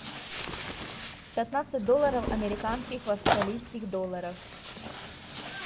пятнадцать долларов американских в австралийских долларах